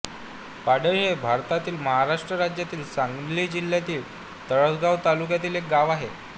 पाडळी हे भारतातील महाराष्ट्र राज्यातील सांगली जिल्ह्यातील तासगांव तालुक्यातील एक गाव आहे